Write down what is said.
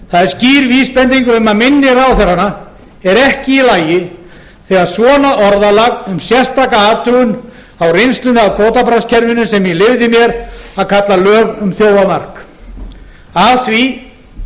það er skýr vísbending um að minni ráðherranna er ekki í lagi þegar svona orðalag um sérstaka athugun á reynslunni af kvótabraskskerfinu sem ég leyfði mér að kalla lög um þjófamark af því